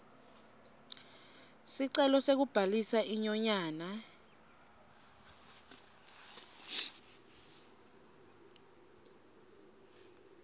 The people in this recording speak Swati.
sicelo sekubhalisa inyonyane